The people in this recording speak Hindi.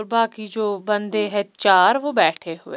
बाकी की जो बंदे हैं चार वो बैठे हुए--